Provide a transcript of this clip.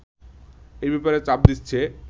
এ ব্যাপারে চাপ দিচ্ছে